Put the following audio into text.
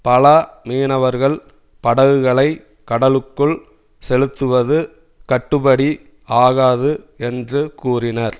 பல மீனவர்கள் படகுகளை கடலுக்குள் செலுத்துவது கட்டுபடி ஆகாது என்று கூறினர்